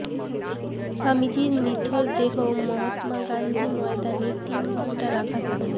স্বামীজির নিথর দেহ মহাত্মা গান্ধী ময়দানে তিন ঘণ্টা রাখা থাকবে